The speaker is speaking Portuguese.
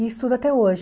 E estudo até hoje.